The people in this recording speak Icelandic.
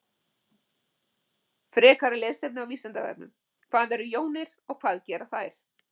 Frekara lesefni á Vísindavefnum: Hvað eru jónir og hvað gera þær?